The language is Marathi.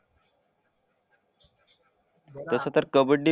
तसा तर कबड्डी